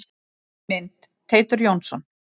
Mynd: Teitur Jónsson.